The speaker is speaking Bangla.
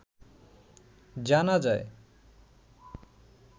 জানা যায়